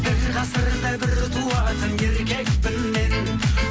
бір ғасырда бір туатын еркекпін мен